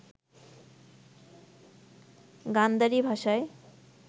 গান্ধারী ভাষায়